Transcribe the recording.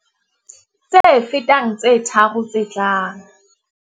Tse fetang tse tharo tse tlang.